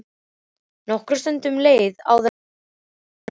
Nokkur stund leið áður en Særún hélt áfram.